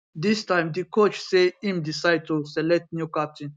dis time di coach say im decide to to select new captain